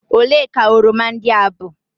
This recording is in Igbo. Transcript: ole ka oroma ndị a bụ?